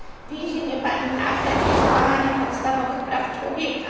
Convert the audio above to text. Uwięzienie pani Nached jest łamaniem podstawowych praw człowieka.